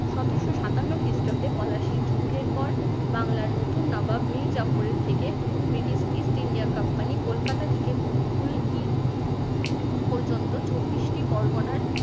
সতেরশো সাতান্ন খ্রিস্টাব্দে পলাশী যুদ্ধের পর বাংলার নতুন নবাব মীর জাফরের থেকে British east india company Kolkata থেকে কুলকি পর্যন্ত চব্বিশটি পরগনার